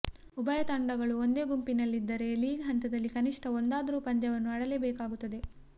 ಉಭಯ ತಂಡಗಳು ಒಂದೇ ಗುಂಪಿನಲ್ಲಿದ್ದರೆ ಲೀಗ್ ಹಂತದಲ್ಲಿ ಕನಿಷ್ಠ ಒಂದಾದರೂ ಪಂದ್ಯವನ್ನು ಆಡಲೇಬೇಕಾಗುತ್ತದೆ